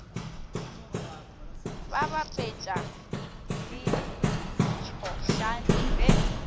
ba bapetša le ditšhošane ge